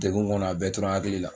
Degun kɔnɔ a bɛɛ tora n hakili la